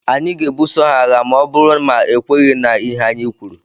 Anyị ga-ebuso ha agha ma ọ bụrụ ma ekwenyeghi na ihe anyị kwuru.